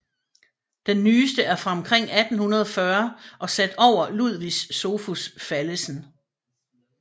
Den nyeste er fra omkring 1840 og sat over Ludvig Sophus Fallesen